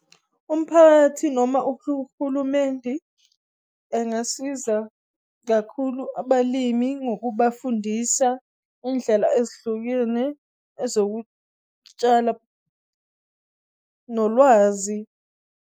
Umphakathi noma uhulumendi engasiza kakhulu abalimi ngokubafundisa indlela ezihlukene ezokutshala, nolwazi.